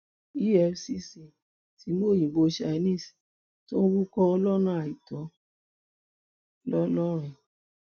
efcc ti mú òyìnbó chinese tó ń wúkọ lọnà àìtó ńlọrọrìn